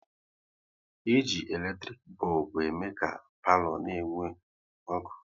E ji eletrik bọlbụ ème ka palo na-enwu ọkụ